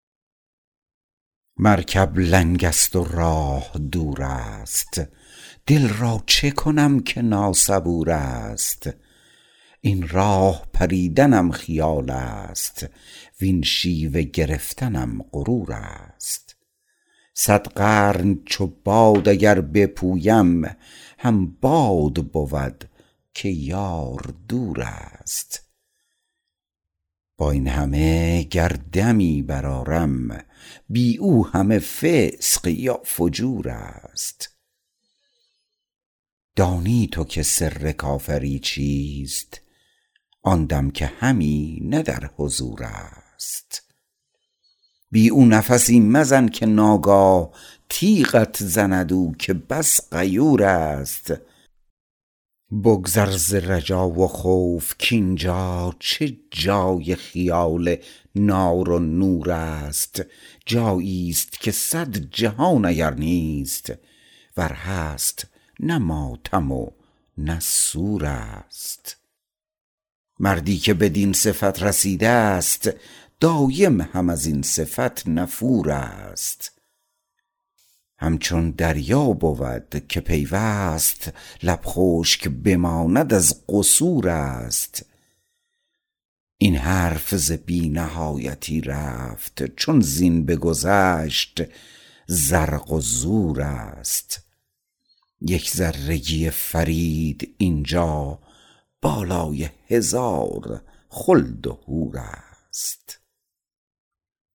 مرکب لنگ است و راه دور است دل را چکنم که ناصبور است این راه بریدنم خیال است وین شیوه گرفتنم غرور است صد قرن چو باد اگر بپویم هم باد بود که یار دور است با این همه گر دمی برآرم بی او همه فسق یا فجور است دانی تو که سر کافری چیست آن دم که همی نه در حضور است بی او نفسی مزن که ناگاه تیغت زند او که بس غیور است بگذر ز رجا و خوف کین جا چه جای خیال نار و نور است جایی است که صد جهان اگر نیست ور هست نه ماتم و نه سور است مردی که بدین صفت رسیده است دایم هم ازین صفت نفور است همچون دریا بود که پیوست لب خشک بماند از قصور است این حرف ز بی نهایتی رفت چون زین بگذشت زرق و زور است یک ذره گی فرید اینجا بالای هزار خلد و حور است